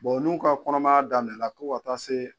n'u ka kɔnɔmaya daminɛnna fɔ ka taa se